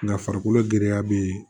Nka farikolo giriya bɛ yen